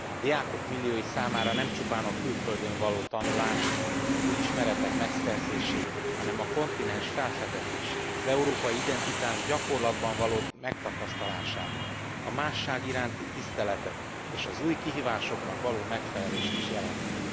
Diákok milliói számára nem csupán a külföldön való tanulást, új ismeretek megszerzését, hanem a kontinens felfedezését, az európai identitás gyakorlatban való megtapasztalását, a másság iránti tiszteletet és az új kihívásoknak való megfelelést is jelenti.